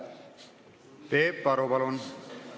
Peep Aru, palun!